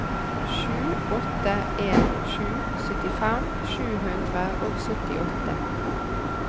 sju åtte en sju syttifem sju hundre og syttiåtte